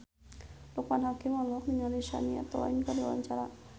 Loekman Hakim olohok ningali Shania Twain keur diwawancara